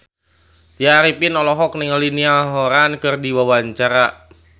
Tya Arifin olohok ningali Niall Horran keur diwawancara